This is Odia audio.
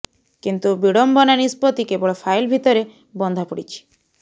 କିନ୍ତୁ ବିଡମ୍ବନା ନିଷ୍ପତ୍ତି କେବଳ ଫାଇଲ୍ ଭିତରେ ବନ୍ଧା ପଡ଼ିଛି